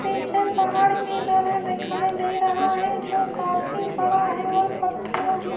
پیچھے پہاڑ کی طرح دکھائی دے رہا ہے جو کافی بڑا ہے اور پتھروں ہی--